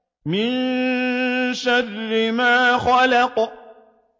مِن شَرِّ مَا خَلَقَ